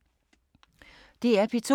DR P2